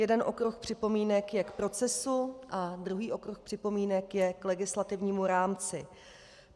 Jeden okruh připomínek je k procesu a druhý okruh připomínek je k legislativnímu rámci.